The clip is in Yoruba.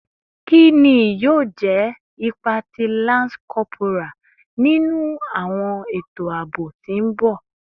Kini yoo jẹ ipa ti lance corporal ninu awọn eto aabo ti n bọ?